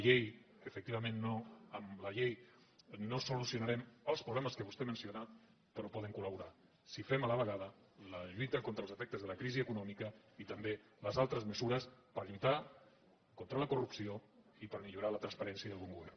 efectivament amb la llei no solucionarem els problemes que vostè ha mencionat però hi poden col·laborar si fem a la vegada la lluita contra els efectes de la crisi econòmica i també les altres mesures per lluitar contra la corrupció i per millorar la transparència i el bon govern